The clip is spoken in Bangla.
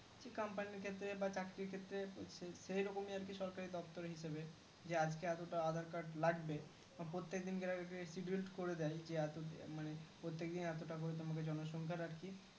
Company এর ক্ষেত্রে বা চাকরির ক্ষেত্রে সেই রকমই আরকি সরকারি দপ্তরে হিসাবে যে আজকে এতটা aadhar card লাগবে বা প্রত্যেকদিন কার করে দেয় মানে প্রত্যেকদিন এতটা করে জনসংখ্যা আরকি